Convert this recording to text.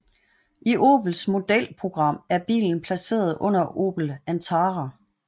I Opels modelprogram er bilen placeret under Opel Antara